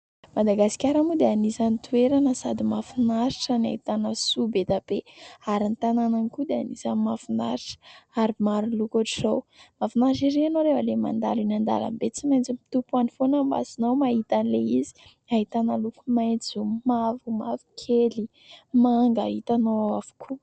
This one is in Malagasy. Madagasikara moa dia anisan'ny toerana sady mahafinaritra no ahitana soa be dia be ary ny tanànany koa dia anisan'ny mahafinaritra ary maro loko ohatr'izao. Mahafinaritra ery ianao rehefa ilay mandalo eny an-dalam-be. Tsy maintsy mitopy any foana ny masonao mahita an'ilay izy. Ahitana loko maitso, mavo, mavokely, manga, hitanao ao avokoa.